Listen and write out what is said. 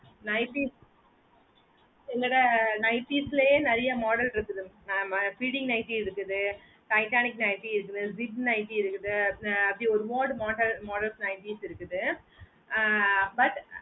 nighties என்னோட nighties லய நேரிய models இருக்குது mam feeding nightly இருக்குது titanic nightly இருக்குது zip nightly இருக்குது mode model nighties இருக்குது ஆஹ் but